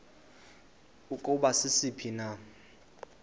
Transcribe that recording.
ukuba sisiphi na